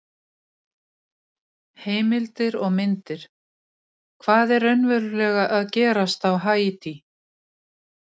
Vinnufyrirkomulag sem gilt hefur í áratugi